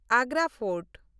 Agra fort